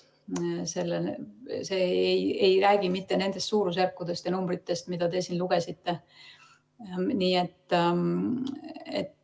See ei räägi mitte nendest suurusjärkudest ja numbritest, mida te siin ette lugesite.